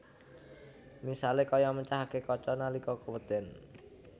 Misalé kaya mecahaké kaca nalika kewéden